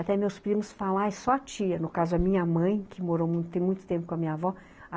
Até meus primos falarem, só a tia, no caso a minha mãe, que morou muito, tem muito tempo com a minha avó.